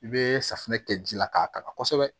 I bɛ safunɛ kɛ ji la k'a kala kosɛbɛ